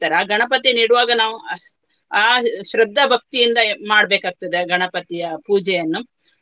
ಆ ಗಣಪತಿಯನ್ನು ಇಡುವಾಗ ನಾವು ಅಹ್ ಆ ಶ್ರದ್ಧಭಕ್ತಿಯಿಂದ ಮಾಡ್ಬೇಕಾಗ್ತದೆ ಆ ಗಣಪತಿಯ ಪೂಜೆಯನ್ನು.